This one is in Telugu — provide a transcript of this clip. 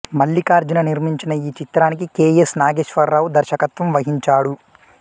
మల్లికార్జున నిర్మించిన ఈ చిత్రానికి కె ఎస్ నాగేశ్వరరావు దర్శకత్వం వహించాడు